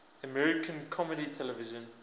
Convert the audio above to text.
american comedy television